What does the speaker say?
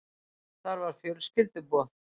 Þar var fjölskylduboð.